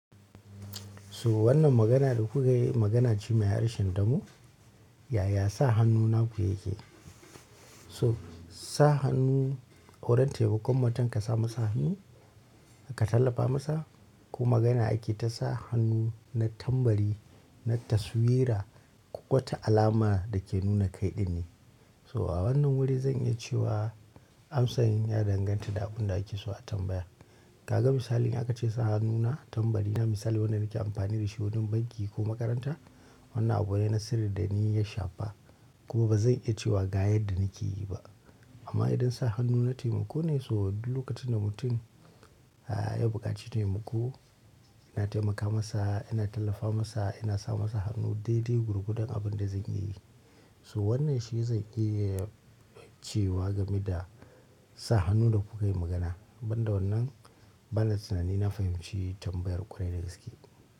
So wannan magana da kuka yi magana ce mai harshen damo, yaya sa hannu naku yake? So sa hannu, wurin taimakon mutum ka sa masa hannu ka tallafa masa ko magana ake ta sa hannu na tambari na taswira, ƙota alama da ke nuna kaiɗin ne. So a wannan wuri zan iya cewa amsan ya danganta da abunda ake so a tambaya. Kaga misali aka ce sa hannuna tambari na misali wanda nake amfani da shi wurin banki ko makaranta. Wannan abu ne na sirri da ni ya shafa kuma ba zan iya cewa ga yadda nake yi ba. Amma idan sa hannu na taimako ne so duk lokacin da mutum, eh ya buƙaci taimako, ina taimaka masa, ina tallafa masa, ina sa masa hannu daidai gurgudan abin da zan iya yi. So wannan shi zai iya cewa game da sa hannu da kuka yi magana. Banda wannan, ban da tunani na fahimci tambayar ƙu da gaske.